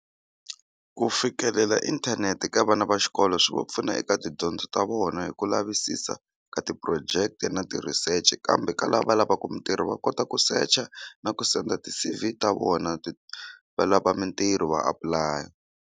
Ku fikelela inthanete ka vana va xikolo swi va pfuna eka tidyondzo ta vona hi ku lavisisa ka ti-project na ti-research kambe ka lava va lavaka mintirho va kota ku secha na ku send ti-C_V ta vona ti va lava mintirho va apulaya.